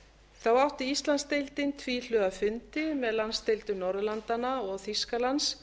þá átti íslandsdeildin tvíhliða fundi með landsdeildum norðurlandanna og þýskalands